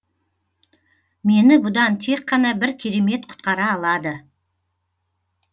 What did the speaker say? мені бұдан тек қана бір керемет құтқара алады